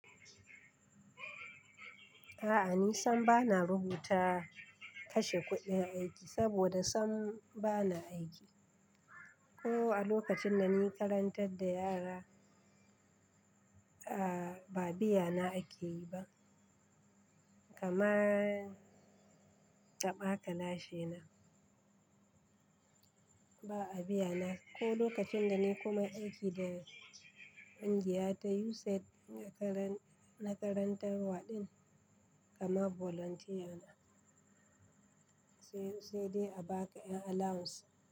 A'a ni sam bana rubuta kashe kuɗin aiki saboda sam bana aiki. Ko a lokacin da ni karantar da yara, a ba biya na akeyi ba. Kamar taba kalashi na, ba a biya na. Ko lokacin da ni kuma aiki da kungiya ta USAID na karantar waɗin kamar volunteer na. Sai dai a baka ƴan allowance.